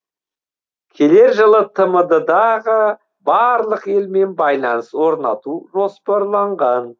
келер жылы тмд дағы барлық елмен байланыс орнату жоспарланған